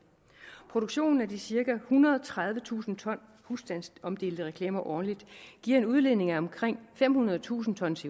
produktionen af de cirka ethundrede og tredivetusind ton husstandsomdelte reklamer årligt giver en udledning på omkring femhundredetusind tons